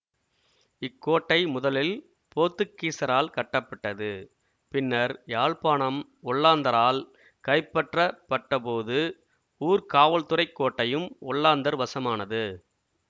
இக்கோட்டை முதலில் போத்துக்கீசரால் கட்டப்பட்டது பின்னர் யாழ்ப்பாணம் ஒல்லாந்தரால் கைப்பற்றப்பட்ட போது ஊர்காவல்துறைக் கோட்டையும் ஒல்லாந்தர் வசமானது